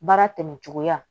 Baara tɛmɛ cogoya